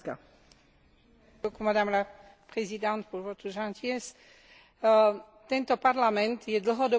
Tento Parlament je dlhodobo presvedčený o potrebe čo najrýchlejšej premeny Európskej únie na federáciu.